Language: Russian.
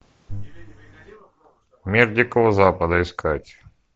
мир дикого запада искать